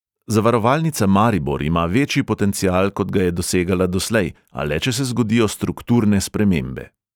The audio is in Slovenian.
"Zavarovalnica maribor ima večji potencial, kot ga je dosegala doslej, a le če se zgodijo strukturne spremembe."